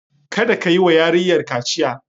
Kada ka yi wa yarinyar kaciya!